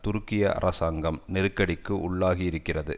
துருக்கிய அரசாங்கம் நெருக்கடிக்கு உள்ளாகி இருக்கிறது